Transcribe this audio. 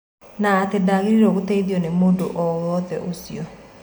Na atĩ ndagĩrĩirwo gũteithio nĩ mũndo o wothe ũcio.